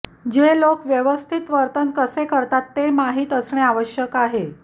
जे लोक व्यवस्थित वर्तन कसे करतात ते माहित असणे आवश्यक आहे